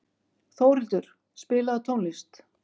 Þórhildur, spilaðu tónlist.